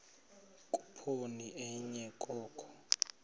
khuphoni enye oko